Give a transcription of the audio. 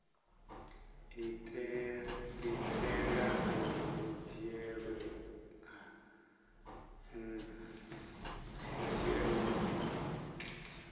itela uri hu dzhielwe nha